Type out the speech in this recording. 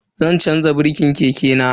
Zan chanza birkin keke na.